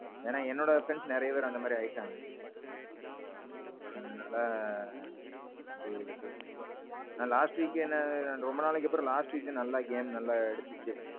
ஏன்னா என்னோட friends நெறைய பெரு அந்த மாறி ஆயிட்டாங்க. அதனால. அப்பிடி bro. நான் last weekஎ என்ன ரொம்ப நாளைக்கு அப்பறோம் last week தான் game நல்ல எடுத்தீச்சு.